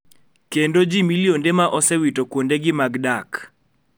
Kendo ji milionde ma osewito kuondegi mag dak